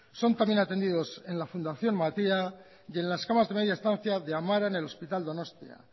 son también atendidos en la fundación matia y en las camas de media estancia de amara en el hospital donostia